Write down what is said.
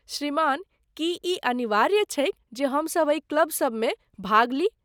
श्रीमान, की ई अनिवार्य छैक जे हमसभ एहि क्लब सबमे भाग ली?